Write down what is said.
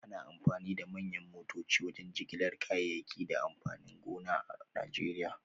Ana amfani da manyan motoci wajen jigilar kayayyaki da amfanin gona a Najeriya